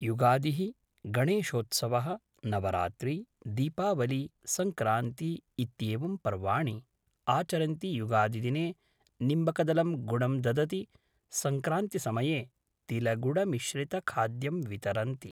युगादिः गणेशोत्सवः नवरात्री दीपावली सङ्क्रान्ती इत्येवं पर्वाणि आचरन्ति युगादिदिने निम्बकदलं गुडं ददति सङ्क्रान्तिसमये तिलगुडमिश्रितखाद्यं वितरन्ति